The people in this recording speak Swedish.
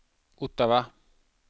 Ottawa